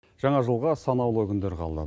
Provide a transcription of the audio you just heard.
жаңа жылға санаулы күндер қалды